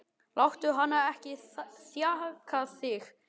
Láttu hana ekki þjaka þig, sagði Daði.